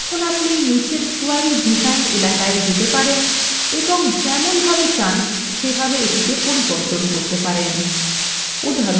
এখন আপনি নীচের query ডিজাইন এলাকায় যেতে পারেন এবং যেমনভাবে চান সেভাবে এটিকে পরিবর্তন করতে পারেন